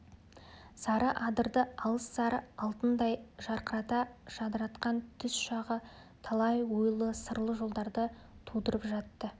сары адырды алыс сары алтындай жарқырата жадыратқан түс шағы талай ойлы сырлы жолдарды тудырып жатты